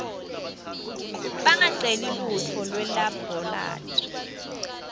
bangaceli luhlolo lwelabholathri